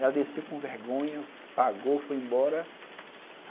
Ela desceu com vergonha, pagou, foi embora.